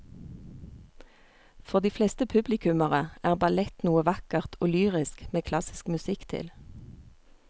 For de fleste publikummere er ballett noe vakkert og lyrisk med klassisk musikk til.